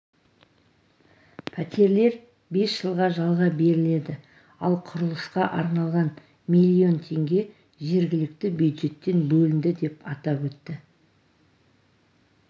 пәтерлер бес жылға жалға беріледі ал құрылысқа арналған млн теңге жергілікті бюджеттен бөлінді деп атап өтті